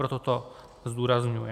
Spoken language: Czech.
Proto to zdůrazňuji.